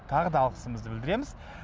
тағы да алғысымызды білдіреміз